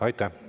Aitäh!